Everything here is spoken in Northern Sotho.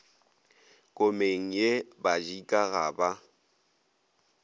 komeng ye badika ga ba